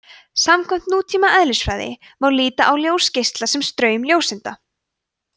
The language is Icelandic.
samkvæmt nútíma eðlisfræði má líta á ljósgeisla sem straum ljóseinda